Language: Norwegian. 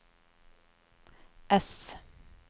ess